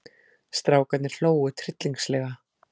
Strákarnir hlógu tryllingslega.